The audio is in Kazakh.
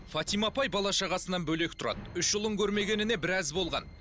фатима апай бала шағасынан бөлек тұрады үш ұлын көрмегеніне біраз болған